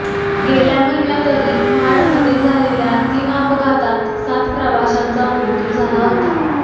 गेल्या महिन्यातही महाडमध्ये झालेल्या तीन अपघातात सात प्रवाशांचा मृत्यू झाला होता